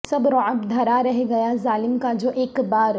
سب رعب دھرا رہ گیا ظالم کا جو اک بار